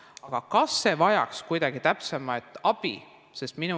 Aga kas see vajaks kuidagi täpsemat abi?